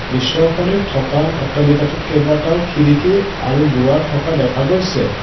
দৃশ্যখনিত থকা অট্টালিকাটোৰ কেইবাটাও খিৰিকী আৰু দুৱাৰ থকা দেখা গৈছে।